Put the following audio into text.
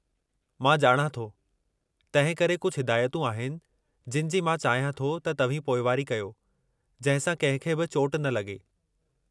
मां ॼाणां थो, तंहिं करे कुझु हिदायतूं आहिनि जिनि जी मां चाहियां थो त तव्हीं पोइवारी कयो जंहिं सां कंहिं खे बि चोट न लगे॒।